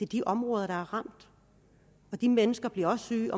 de områder der er ramt de mennesker bliver også syge